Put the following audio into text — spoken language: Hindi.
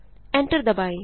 एंटर दबाएँ